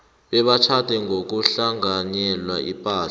bebatjhade ngokuhlanganyela ipahla